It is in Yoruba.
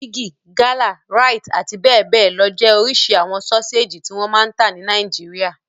Bigi, Gala, Rite àti bẹ́ẹ̀ bẹ́ẹ̀ lọ jẹ́ oríṣi àwọn sọ́séjì tí wọ́n máa ń ta ní Nàìjíríà.